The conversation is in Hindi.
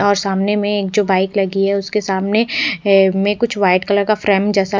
और सामने में जो एक बाइक लगी हुयी है उसके सामने में कुछ व्हाइट कलर का फ्रेम जैसा--